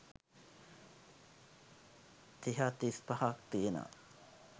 තිහක්‌ තිස්‌පහක්‌ තියෙනවා.